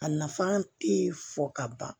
A nafa tɛ fɔ ka ban